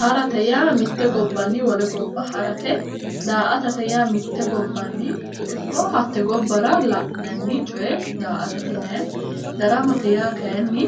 Harate yaa mitte gobbanni wole gobba harate, daa'atate yaa mitte gobbanni ikko hatte gobbara la'nanni coye daa'atate yinayi. daramate yaa kaayiinni